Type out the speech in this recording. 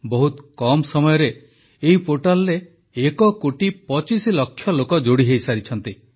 ବହୁତ କମ୍ ସମୟରେ ଏହି ପୋର୍ଟାଲରେ ଏକ କୋଟି ପଚିଶ ଲକ୍ଷ ଲୋକ ଯୋଡ଼ି ହୋଇସାରିଛନ୍ତି